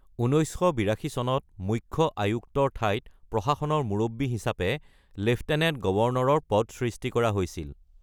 ১৯৮২ চনত মুখ্য আয়ুক্তৰ ঠাইত প্ৰশাসনৰ মুৰব্বী হিচাপে লেফটেনেণ্ট গৱৰ্ণৰৰ পদ সৃষ্টি কৰা হয়।